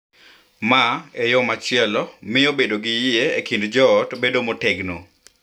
Ma, e yo machielo, miyo bedo gi yie e kind joot bedo motegno.